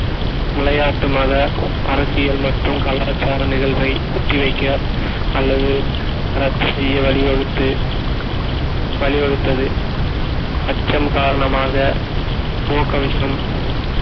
விளையாட்டு மத அரசியல் மற்றும் கலாச்சாரம் நிகழ்வை ஒத்தி வைக்க அல்லது ரத்து செய்ய வழி வகுத்து வழிவகுத்தது அச்சம் காரணமாக முக கவசம்